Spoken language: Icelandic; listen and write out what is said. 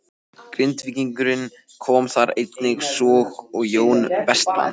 Grindvíkingur kom þar einnig, svo og Jón Vestmann